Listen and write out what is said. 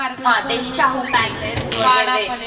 हां ते शाहू पॅलेस वगैरे